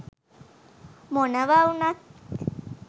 මොනවා වුනත්